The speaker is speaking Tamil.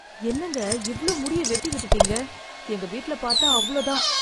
என்னங்க, இவ்ளோ முடிய வெட்டி விட்டுடீங்க, எங்க வீட்ல பாத்தா அவ்ளோ தான்.